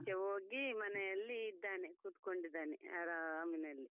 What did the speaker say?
ಆಚೀಚೆ ಹೋಗಿ ಮನೆಯಲ್ಲಿ ಇದ್ದಾನೆ ಕೂತ್ಕೊಂಡಿದಾನೆ ಆರಾಮಿನಲ್ಲಿ.